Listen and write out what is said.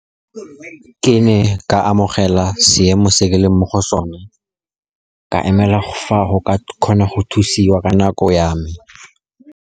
Ke ne ka amogela seemo se ke leng mo go sone, ka emela fa go ka kgona go thusiwa ka nako ya me.